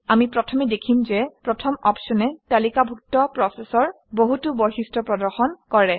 আমি প্ৰথমে দেখিম যে প্ৰথম অপশ্যনে তালিকাভুক্ত প্ৰচেচৰ বহুতো বৈশিষ্ট্য প্ৰদৰ্শন কৰে